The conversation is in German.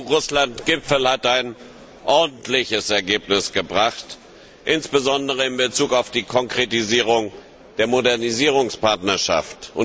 Der EU Russland Gipfel hat ein ordentliches Ergebnis gebracht, insbesondere in Bezug auf die Konkretisierung der Modernisierungspartnerschaft.